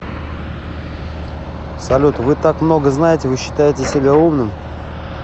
салют вы так много знаете вы считаете себя умным